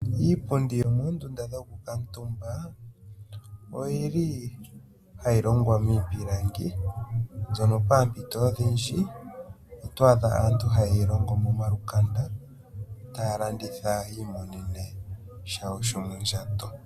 Iipundi yo moondunda dhoku kuutumba oyili hayi longwa miipilangi, mbyono paampito odhindji oto adha aantu haye yi longo mo malukanda, taya landitha yi imonene shawo sho mondjato.